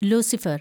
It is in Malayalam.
ലൂസിഫര്‍